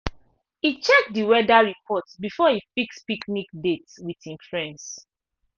e check d weather report before e fix picnic date with him friends.